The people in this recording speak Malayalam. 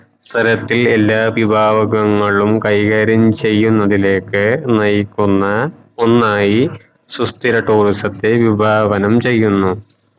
തലത്തിൽ എല്ലാ വിഭാഗവങ്ങളും കൈകാര്യം ചെയ്യുനതിലെക് നയിക്കുന്ന ഒന്നായി സുസ്ഥിര tourism ത്തെ വിഭാവനം ചെയുന്നു